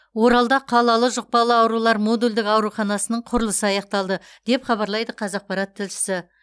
оралда қалалы жұқпалы аурулар модульдік ауруханасының құрылысы аяқталды деп хабарлайды қазақпарат тілшісі